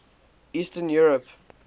eastern europe